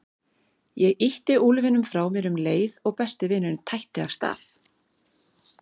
Ég ýtti úlfinum frá mér um leið og besti vinurinn tætti af stað.